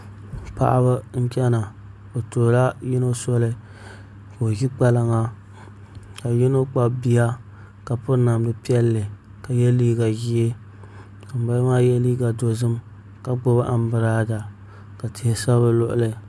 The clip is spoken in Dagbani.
Paɣaba n chɛna bi tuhula yino soli ka o ʒi kpalaŋa ka yino kpabi bia ka piri namdi piɛlli ka yɛ liiga ʒiɛ ka ŋunbala maa yɛ liiga dozim ka gbubi anbirala ka tihi sa bi luɣuli